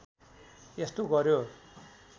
यस्तो गर्‍यो